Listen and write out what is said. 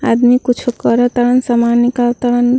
आदमी कुछु कर तरन सामान निकाल तरन।